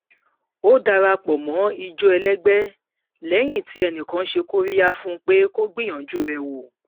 ó dara pọ mọ ijó ẹlẹgbẹ lẹyìn tí enìkan ṣe kóríyá fún un pé kó gbíyanju rẹ wò